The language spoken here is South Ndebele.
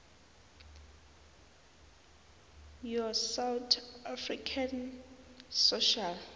yosouth african social